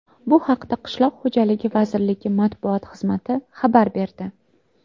Bu haqda Qishloq xo‘jaligi vazirligi matbuot xizmati xabar berdi .